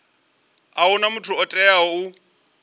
huna muthu o teaho u